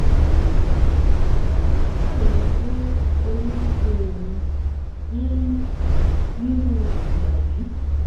um ó ń ṣàròyé pé orí ń ṣe òun um nírú ìgbà yìí